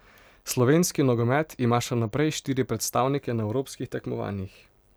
Slovenski nogomet ima še naprej štiri predstavnike na evropskih tekmovanjih.